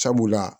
Sabula